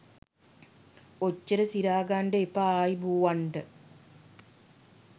ඔච්චර සිරා ගන්ඩ එපා ආයුබොවන්ඩ.